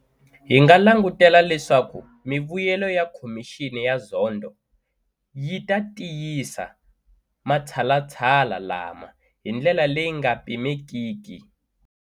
Hi nga langutela leswaku mivuyelo ya Khomixini ya Zondo yi ta tiyisa matshalatshala lama hi ndlela leyi nga pimekiki.